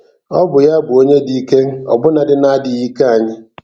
Ọ bụ ya bụ onye dị ike ọbụnadị na-adịghị ike anyị.